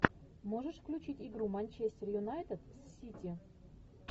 можешь включить игру манчестер юнайтед с сити